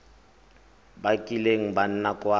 ba kileng ba nna kwa